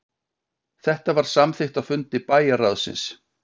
Þetta var samþykkt á fundi bæjarráðsins